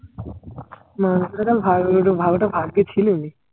মাংসটা তাহলে ভাগ্যে ছিলই